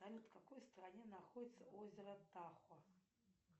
салют в какой стране находится озеро тахо